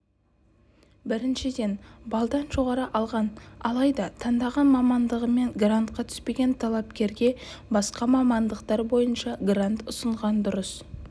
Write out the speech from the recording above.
біріншіден балдан жоғары алған алайда таңдаған мамандығымен грантқа түспеген талапкерге басқа мамандықтар бойынша грант ұсынған дұрыс